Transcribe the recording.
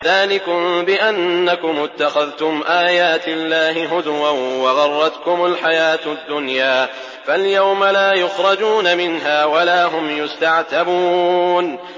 ذَٰلِكُم بِأَنَّكُمُ اتَّخَذْتُمْ آيَاتِ اللَّهِ هُزُوًا وَغَرَّتْكُمُ الْحَيَاةُ الدُّنْيَا ۚ فَالْيَوْمَ لَا يُخْرَجُونَ مِنْهَا وَلَا هُمْ يُسْتَعْتَبُونَ